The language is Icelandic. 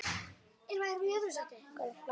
Mig langar að hlæja núna.